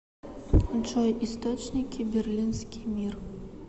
джой источники берлинский мир